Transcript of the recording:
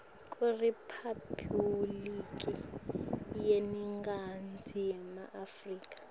kuriphabhuliki yeningizimu afrika